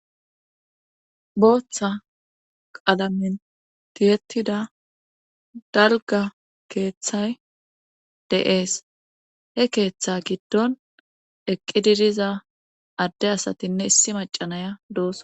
booththa qalamen tiyettida dalgga keeththay de'ees. he keeththa giddon eqqidi diza adde asatinne issi macanaya doos.